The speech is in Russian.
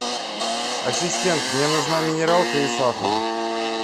ассистент мне нужна минералка и сахар